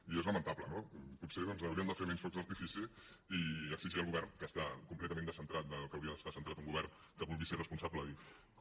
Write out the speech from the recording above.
i és lamentable no potser doncs hauríem de fer menys focs d’artifici i exigir al govern que està completament descentrat del que hauria d’estar centrat un govern que vulgui ser responsable i com